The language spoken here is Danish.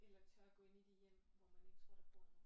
Eller tør gå ind i de hjem hvor man ikke tror der bor nogen